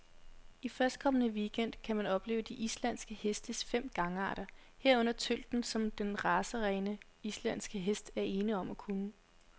I førstkommende weekend gang kan man opleve de islandske hestes fem gangarter, herunder tølten, som de racerene, islandske heste er ene om at kunne.